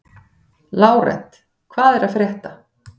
Lárent, hvað er að frétta?